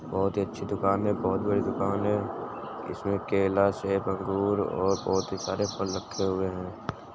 बहुत ही अच्छी दूकान है बहुत बड़ी दुकान है इसमें केला सेव अंगूर और बहुत ही सारे फल रखे हुए हैं।